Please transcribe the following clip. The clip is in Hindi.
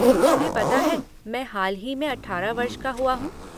तुम्हें पता है, मैं हाल ही में 18 वर्ष का हुआ हूँ?